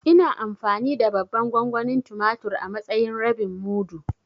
Ina amfani da babban gongonin tumatur a matsayin rabin mudu.